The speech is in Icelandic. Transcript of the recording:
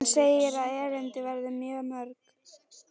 Hann segir að erindin verði mörg.